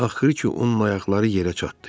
Axırı ki, onun ayaqları yerə çatdı.